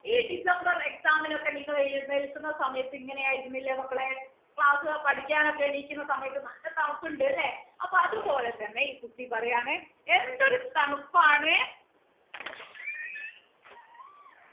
ഈ December exam ന് ഒക്കെ നിങ്ങൾ എഴുന്നേൽക്കുന്ന സമയത്ത് ഇങ്ങനെ ആയിരുന്നില്ലേ മക്കളെ class പഠിക്കാൻ ഒക്കെ എണീക്കുന്ന സമയത്ത് നല്ല തണുപ്പ് ഉണ്ട് അല്ലെ അപ്പൊ അതുപോലെ തന്നെ ഈ കുട്ടി പറയാണ് എന്തൊരു തണുപ്പാണ്